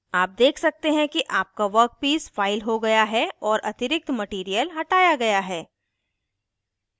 आप देख सकते हैं कि आपका वर्कपीस फ़ाइल हो गया है और अतिरिक्त मटीरियल हटाया गया है